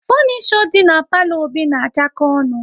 Funisho dị na palo Obi na achako ọnụ